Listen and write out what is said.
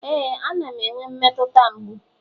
ee, a na m enwe mmetụta mgbu